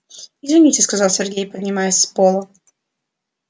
извините сказал сергей поднимаясь с пола